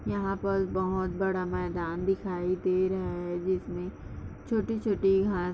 यहाँ पर बहोत बड़ा मैदान दिखाई दे रहा है जिसमे छोटी-छोटी घाँस--